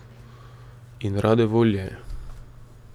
In rade volje.